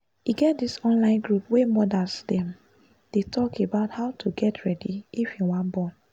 e get this online group wey modas them dey talk about how to get ready if you wan born